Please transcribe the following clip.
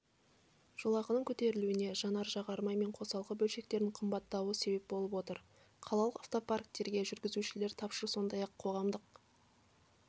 жолақының көтерілуіне жанар-жағармай мен қосалқы бөлшектердің қымбаттауы себеп болып отыр қалалық автопарктерде жүргізушілер тапшы сондай-ақ қоғамдық